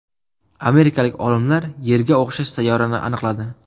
Amerikalik olimlar Yerga o‘xshash sayyorani aniqladi.